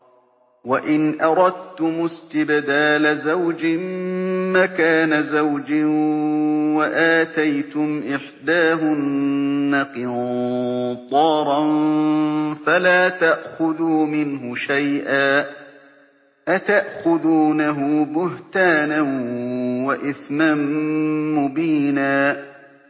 وَإِنْ أَرَدتُّمُ اسْتِبْدَالَ زَوْجٍ مَّكَانَ زَوْجٍ وَآتَيْتُمْ إِحْدَاهُنَّ قِنطَارًا فَلَا تَأْخُذُوا مِنْهُ شَيْئًا ۚ أَتَأْخُذُونَهُ بُهْتَانًا وَإِثْمًا مُّبِينًا